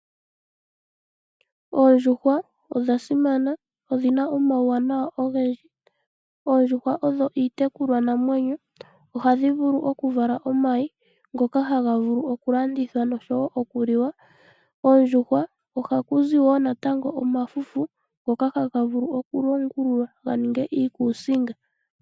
Oondjuhwa odhasimana nodhi na omauwanawa ogendji. Oondjuhwa odho iitekulwa namwenyo. Ohadhi vulu okuvala omayi ngoka haga vulu okulandithwa nosho wo okuliwa. Koondjuhwa ohaku zi omalwenya ngoka haga vulu okulongwa ga ninge iikusinga.